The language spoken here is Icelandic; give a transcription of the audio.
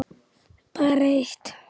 Bara eitt